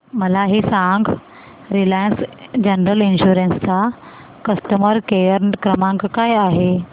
मला हे सांग रिलायन्स जनरल इन्शुरंस चा कस्टमर केअर क्रमांक काय आहे